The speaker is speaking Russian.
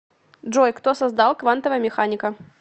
джой кто создал квантовая механика